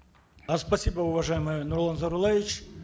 э спасибо уважаемый нурлан зайроллаевич